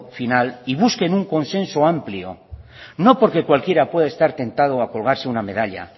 final y busquen un consenso amplio no porque cualquiera pueda estar tentado a colgarse una medalla